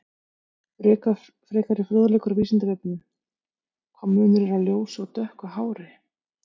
Frekari fróðleikur á Vísindavefnum: Hvaða munur er á ljósu og dökku hári?